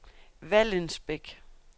Vallensbæk